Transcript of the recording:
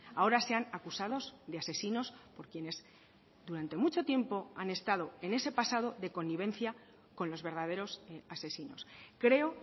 ahora sean acusados de asesinos por quienes durante mucho tiempo han estado en ese pasado de connivencia con los verdaderos asesinos creo